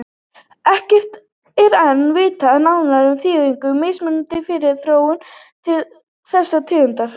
Ekkert er enn vitað nánar um þýðingu mismunarins fyrir þróun þessara tegunda.